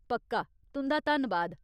पक्का, तुं'दा धन्नबाद।